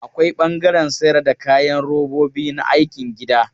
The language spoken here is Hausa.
Akwai ɓangaren sayar da kayan robobi na aikin gida.